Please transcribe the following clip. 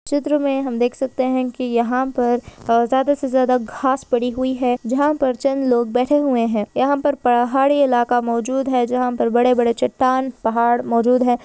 चित्र में हम देख सकते हैं कि यहां पर ज्यादा से ज्यादा घास पड़ी हुई है जहां पर चंद लोग बैठे हुए हैं यहां पर पहाडी इलाका मौजूद है जहां पर बड़े-बड़े चट्टान पहाड़ मौजूद है।